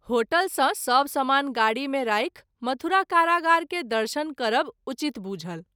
Hotel सँ सभ समान गाड़ी मे राखि मथुरा कारागार के दर्शन करब उचित बुझल।